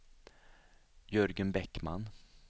Jörgen Bäckman